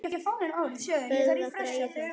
Böðvar Bragi Pálsson